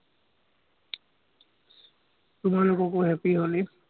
তোমালোককো happy holi